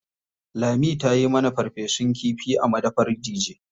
Lami ta yi mana farfesun kifi a madafar Dije.